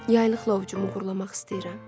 Yaylıqlavcum uğurlamaq istəyirəm.